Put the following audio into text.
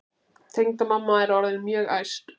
Tengdamamma er orðin mjög æst.